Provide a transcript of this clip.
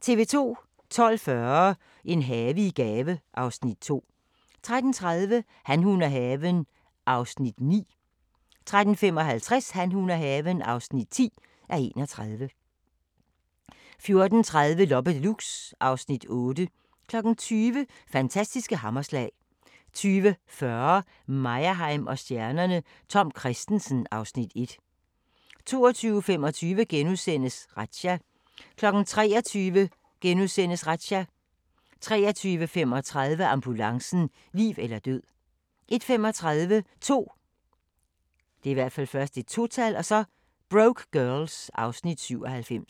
12:40: En have i gave (Afs. 2) 13:30: Han, hun og haven (9:31) 13:55: Han, hun og haven (10:31) 14:30: Loppe Deluxe (Afs. 8) 20:00: Fantastiske hammerslag 20:40: Meyerheim & stjernerne: Tom Kristensen (Afs. 1) 22:25: Razzia * 23:00: Razzia * 23:35: Ambulancen - liv eller død 01:35: 2 Broke Girls (Afs. 97)